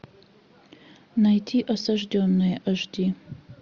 найти осажденные аш ди